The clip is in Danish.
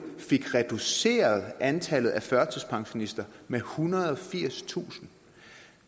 fik reduceret antallet af førtidspensionister med ethundrede og firstusind